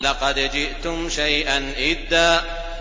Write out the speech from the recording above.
لَّقَدْ جِئْتُمْ شَيْئًا إِدًّا